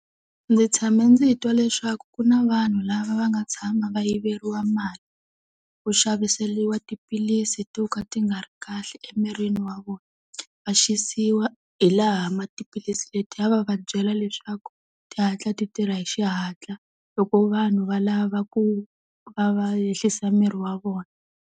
Ndzi tshama ndzi twa leswaku ku na vanhu lava va nga tshama va yiveriwa mali, ku xaviseriwa tiphilisi to ka ti nga ri kahle emirini wa vona. Va xisiwi hi laha ma tiphilisi letiya va va byela leswaku tihatla ti tirha hi xihatla loko vanhu va lava ku va va ehlisa miri wa vona.